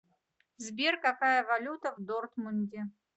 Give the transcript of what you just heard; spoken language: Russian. сбер какая валюта в дортмунде